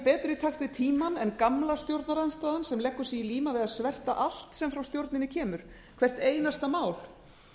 í takt við tímann en gamla stjórnarandstaðan sem leggur sig í líma við að sverta allt sem frá stjórninni kemur hvert einasta mál